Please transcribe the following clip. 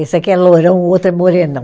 Esse aqui é loirão, o outro é morenão.